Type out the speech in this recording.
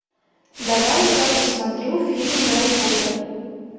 давай я посмотрю фильм гарри поттер